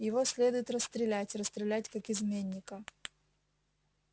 его следует расстрелять расстрелять как изменника